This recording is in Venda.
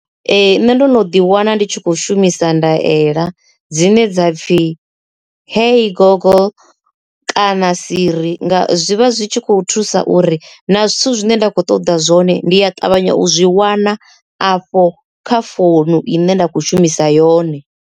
Ee, nṋe ndo no ḓi wana ndi tshi kho shumisa ndaela dzine dza pfhi hey gogo kana siri zwi vha zwi tshi khou thusa uri na zwithu zwine nda kho ṱoḓa zwone ndi ya ṱavhanya u zwi wana afho kha founu i ne nda khou shumisa yone.